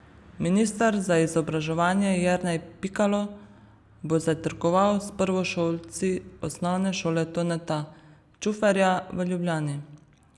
Minister za izobraževanje Jernej Pikalo bo zajtrkoval s prvošolci Osnovne šole Toneta Čuferja v Ljubljani.